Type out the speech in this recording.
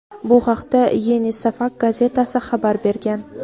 Bu haqda "Yeni Safak" gazetasi xabar bergan.